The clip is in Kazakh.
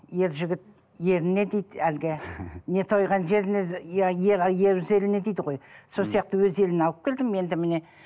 ер жігіт еліне дейді әлгі не тойған жеріне дейді ғой сол сияқты өз еліне алып келдім енді міне